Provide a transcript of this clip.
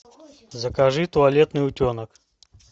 закажи туалетный утенок